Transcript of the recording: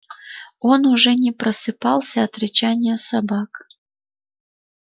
он уже не просыпался от рычания собак